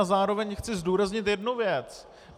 A zároveň chci zdůraznit jednu věc.